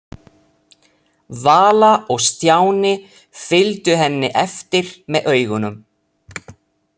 Vala og Stjáni fylgdu henni eftir með augunum.